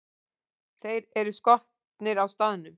Þeir eru skotnir á staðnum!